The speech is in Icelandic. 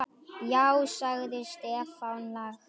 Já sagði Stefán lágt.